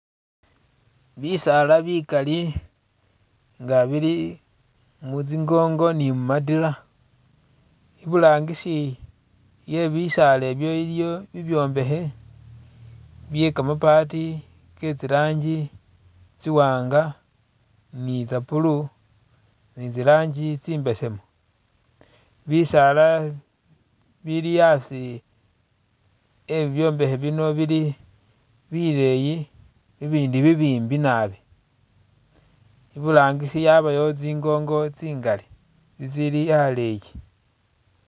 Bisaala bikali nga bili mutsingongo ni'mumatila ibulangisi webisaala bi iliyo bibyombekhe bye kamabaati ketsi ranjii tsi'wanga ni tsa'blue ni tsi ranjii tsi'mbesemu bisaala bili asi e'bibyombekhe bino bili bileyi i'bindi bibimbi naabi iburangisi yabayo tsiingongo tsingali itsili aleyi